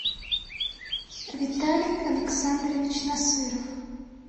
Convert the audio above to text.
виталий александрович насыров